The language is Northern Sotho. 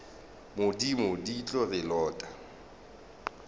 modimo di tlo re lota